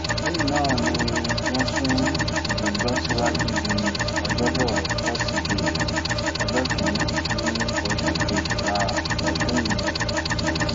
lẹ́yìn náà ni wọ́n sún ìgbẹ́jọ́ síwájú di ọjọ́bọ tọ́sídẹ̀ẹ́ ọjọ́ kìn-ín-ní oṣù kejìlá ọdún yìí